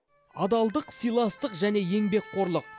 адалдық сыйластық және еңбекқорлық